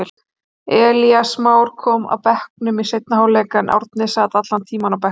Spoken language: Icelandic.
Elías Már kom af bekknum í seinni hálfleik, en Árni sat allan tímann á bekknum.